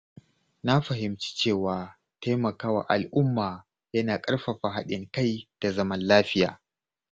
Na fahimci cewa taimakawa al’umma yana ƙarfafa haɗin kai da zaman lafiya.